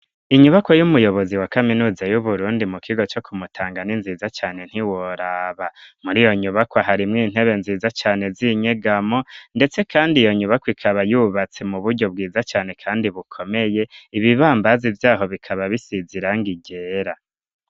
Inyubako y'umuyobozi wa kaminuza y'uburundi mu kigo co kumutangani nziza cane ntiworaba muri iyo nyubako aharimwo intebe nziza cane zinyegamo, ndetse, kandi iyo nyubako ikaba yubatse mu buryo bwiza cane, kandi bukomeye ibibambazi vyaho bikaba bisizirangigera.